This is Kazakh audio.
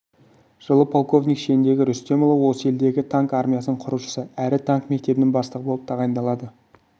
жылы полковник шеніндегі рүстемұлы осы елдегі танк армиясының құрушысы әрі танк мектебінің бастығы болып тағайындалады